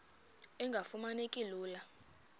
engafuma neki lula